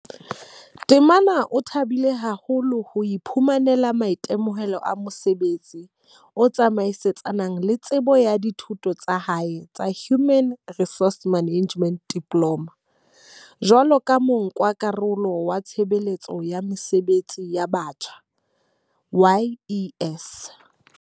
Temane o thabile haholo ho iphumanela maitemohelo a mosebetsi o tsamaisanang le tsebo ya dithuto tsa hae tsa Human Resource Management Diploma, jwaloka monka-karolo wa Tshebeletso ya Mesebetsi ya Batjha YES.